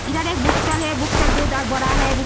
इधर एक book stall है। बुक स्टॉल बहोत बड़ा है।